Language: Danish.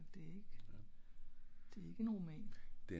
det ik det ik en roman